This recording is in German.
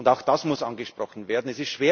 sind. Auch das muss angesprochen werden.